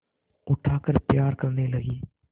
उठाकर प्यार करने लगी